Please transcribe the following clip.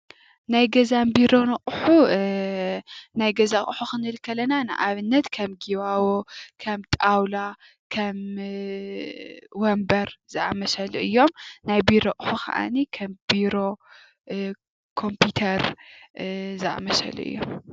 ናይ ገዛን ቢሮን ኣቕሑ እ....ናይ ገዛ ኣቕሑ ክንብል ከለና ንኣብነት ከም ጊባቦ፣ ከም ጣውላ፣ ከም ወንበር ዝኣመሰሉ እዮም፡፡ ናይ ቢሮ ኣቕሑ ኸኣኒ ከም ቢሮ፣ ኮምፒተር ዝኣመሰሉ እዮም፡፡